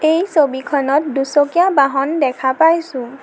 এই ছবিখনত দুচকীয়া বাহন দেখা পাইছোঁ।